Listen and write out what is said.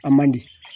A man di